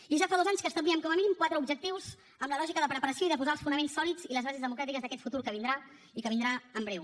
i ja fa dos anys que establíem com a mínim quatre objectius amb la lògica de preparació i de posar els fonaments sòlids i les bases democràtiques d’aquest futur que vindrà i que vindrà en breu